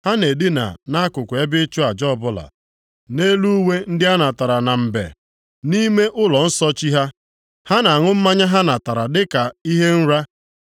Ha na-edina nʼakụkụ ebe ịchụ aja ọbụla, nʼelu uwe ndị anatara na mbe. Nʼime ụlọnsọ chi ha, ha na-aṅụ mmanya ha natara dịka ihe nra.